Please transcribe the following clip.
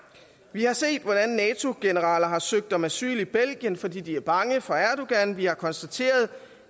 vi har set hvordan nato generaler har søgt om asyl i belgien fordi de er bange for erdogan vi har konstateret